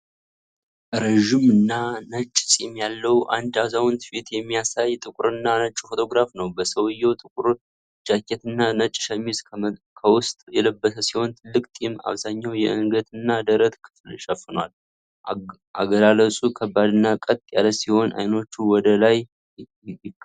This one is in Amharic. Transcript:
ረዥምና ነጭ ፂም ያለው አንድ አዛውንት ፊት የሚያሳይ ጥቁርና ነጭ ፎቶግራፍ ነው። ሰውየው ጥቁር ጃኬትና ነጭ ሸሚዝ ከውስጥ የለበሰ ሲሆን፣ ትልቅ ጢሙ አብዛኛውን የአንገትና ደረት ክፍል ሸፍኗል። አገላለጹ ከባድና ቀጥ ያለ ሲሆን፣ አይኖቹ ወደ ይመለከታሉ።